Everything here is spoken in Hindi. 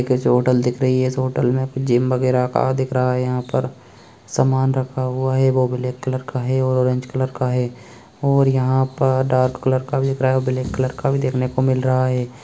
एक ऐसी होटल दिख रही है इस होटल में जिम वैगरह का दिख रहा है यहाँ पर समान रखा हुआ है वो ब्लैक कलर का है ओरेंज कलर का है और यहाँ पर डार्क कलर का भी दिख रहा है और ब्लैक का भी देखने को मिल रहा है।